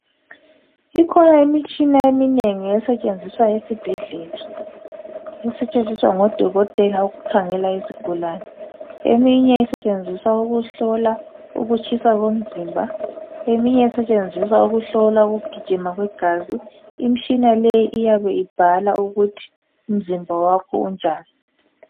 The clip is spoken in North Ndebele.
Ikhona imitshina eminengi esetshenziswa esibhedlela esetshenziswa ngodokotela ukukhangela izigulane. Eminye esetshenziswa ukuhlola ukutshisa komzimba eminye isetshenziswa ukuhlola ukugijima kwegazi. Imitshina leyi iyabe ibhala ukuthi umzimba wakho unjani.